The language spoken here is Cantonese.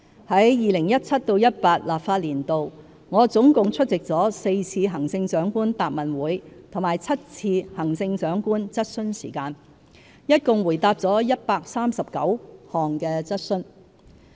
在 2017-2018 立法年度，我總共出席了4次行政長官答問會和7次行政長官質詢時間，一共回答了139項質詢。